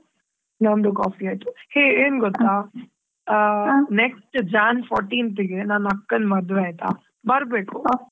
ನಂದು coffee ಆಯ್ತು. Hey ಏನ್ ಗೊತ್ತಾ ಆ next jan fourteenth ಗೆ ನನ್ ಅಕ್ಕನ್ ಮದುವೆ ಆಯ್ತಾ ಬರ್ಬೇಕು.